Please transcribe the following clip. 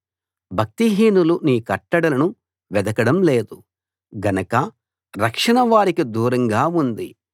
భక్తిహీనులు నీ కట్టడలను వెదకడం లేదు గనక రక్షణ వారికి దూరంగా ఉంది